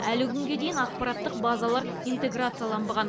әлі күнге дейін ақпараттық базалар интеграцияланбаған